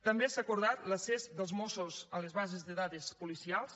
també s’ha acordat l’accés dels mossos a les bases de dades policials